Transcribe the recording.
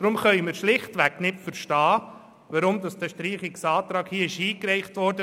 Deshalb können wir schlichtweg nicht verstehen, weshalb dieser Streichungsantrag eingereicht wurde.